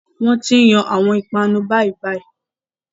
Wọn ti n Yàn awọn ipanu bayibayi